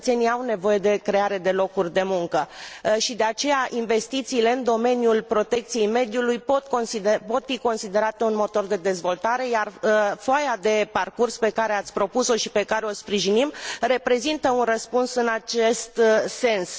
Cetățenii au nevoie de creare de locuri de muncă și, de aceea, investițiile în domeniul protecției mediului pot fi considerate un motor de dezvoltare, iar foaia de parcurs pe care ați propus o și pe care o sprijinim reprezintă un răspuns în acest sens.